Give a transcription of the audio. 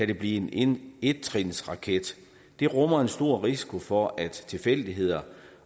det blive en ettrinsraket det rummer en stor risiko for at tilfældigheder